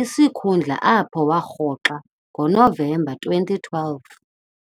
isikhundla apho warhoxa ngoNovemba 2012.